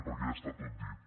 perquè ja està tot dit